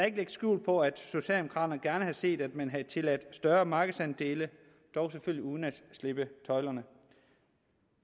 ikke lægge skjul på at socialdemokraterne gerne havde set at man havde tilladt større markedsandele dog selvfølgelig uden at slippe tøjlerne